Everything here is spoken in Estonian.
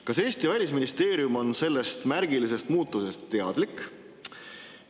Kas Eesti välisministeerium on sellest märgilisest muudatusest teadlik?